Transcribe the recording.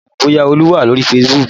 N kò mọ bóyá olú wà lórí Facebook